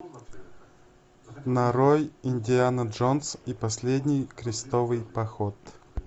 нарой индиана джонс и последний крестовый поход